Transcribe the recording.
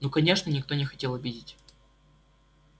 ну конечно никто не хотел обидеть